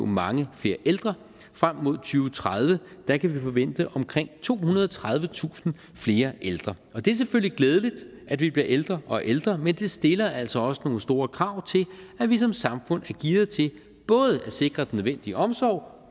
mange flere ældre frem mod tredive kan vi forvente omkring tohundrede og tredivetusind flere ældre og det er selvfølgelig glædeligt at vi bliver ældre og ældre men det stiller altså også nogle store krav til at vi som samfund er gearet til både at sikre nødvendige omsorg